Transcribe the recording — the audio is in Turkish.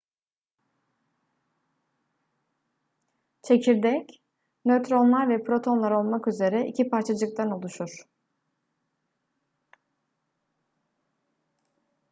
çekirdek nötronlar ve protonlar olmak üzere iki parçacıktan oluşur